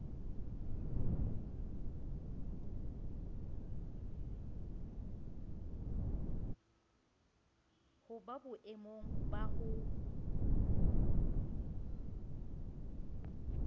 ho ba boemong ba ho